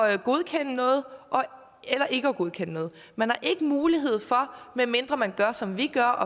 at godkende noget eller ikke at godkende noget man har ikke mulighed for medmindre man gør som vi gør